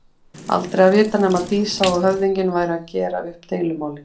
Aldrei að vita nema Dísa og höfðinginn væru að gera upp deilumálin.